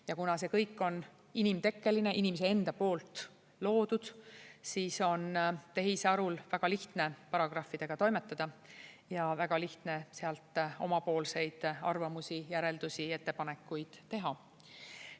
Ja kuna see kõik on inimtekkeline, inimese enda poolt loodud, siis on tehisarul väga lihtne paragrahvidega toimetada ja väga lihtne sealt omapoolseid arvamusi, järeldusi ja ettepanekuid teha.